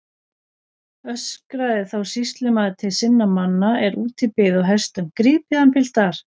Öskraði þá sýslumaður til sinna manna er úti biðu á hestum: Grípið hann piltar.